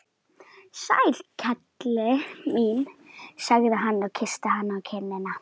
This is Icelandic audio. Sæl kelli mín, sagði hann og kyssti hana á kinnina.